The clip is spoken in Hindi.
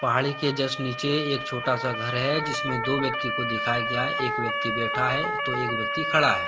पहाड़ी के जस्ट नीचे एक छोटा सा घर है जिस में दो व्यक्ति को दिखाया गया है एक व्यक्ति बैठा है तो एक व्यक्ति खड़ा है।